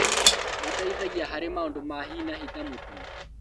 Mateithagia harĩ maũndũ ma hi na hi ta mũtino